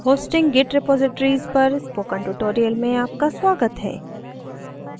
hosting git repositories पर spoken tutorial में आपका स्वागत है